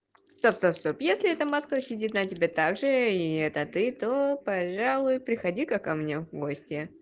стоп стоп если эта маска сидит на тебе также и это ты то пожалуй приходи ка ко мне в гости